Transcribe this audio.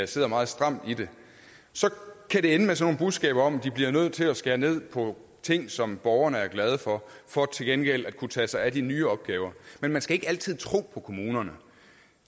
sidder meget stramt i det så kan det ende med sådan nogle budskaber om at de bliver nødt til skære ned på ting som borgerne er glade for for til gengæld at kunne tage sig af de nye opgaver men man skal ikke altid tro på kommunerne